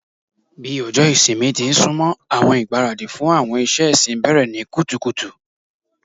Bi ọjọ ìsinmi ti n sunmọ, awọn igbaradi fun awọn iṣẹ ẹsin bẹrẹ ni kutukutu